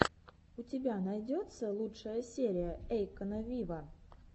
у тебя найдется лучшая серия эйкона виво